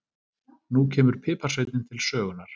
Nú kemur piparsveinninn til sögunnar.